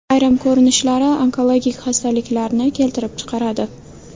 Ayrim ko‘rinishlari onkologik xastaliklarni keltirib chiqaradi.